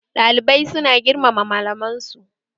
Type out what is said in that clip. Ɗalibai su na girmama malaman su